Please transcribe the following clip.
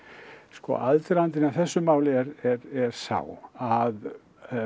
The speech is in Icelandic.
sko aðdragandinn að þessu máli er sá að